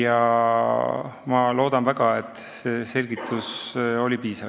Ma loodan väga, et see selgitus oli piisav.